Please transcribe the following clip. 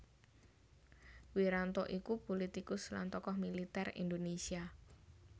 Wiranto iku pulitikus lan tokoh militer Indonésia